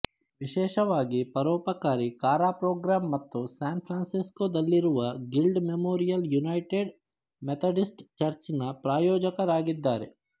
ವಿಶೇಷವಾಗಿ ಪರೋಪಕಾರಿ Kara program ಮತ್ತು ಸ್ಯಾನ್ ಫ್ರಾನ್ಸಿಸ್ಕೋದಲ್ಲಿರುವ Guild Memorial United Methodist Church ನ ಪ್ರಾಯೋಜಕರಾಗಿದ್ದಾರೆ